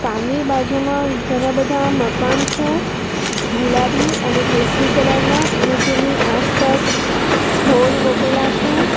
Car ની બાજુમાં ઘણા બધા મકાન છે ગુલાબી અને કેસરી કલર ના અને તેમની આસપાસ છોડ રોપેલા છે.